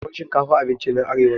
Tuwan shinkafa abincin ƴan arewa ne